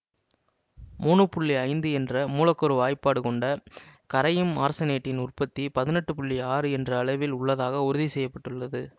மூன்னு புள்ளி ஐந்து என்ற மூலக்கூறு வாய்பாடு கொண்ட கரையும் ஆர்செனேட்டின் உற்பத்தி பதினெட்டு புள்ளி ஆறு என்ற அளவில் உள்ளதாக உறுதி செய்ய பட்டுள்ளது